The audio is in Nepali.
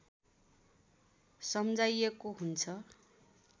सम्झाइएको हुन्छ